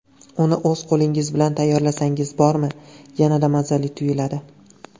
Uni o‘z qo‘lingiz bilan tayyorlasangiz bormi, yanada mazali tuyuladi.